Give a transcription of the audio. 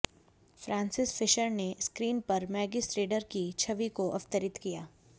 Francis Fisher ने screen पर Maggie Strader की छवि को अवतरित किया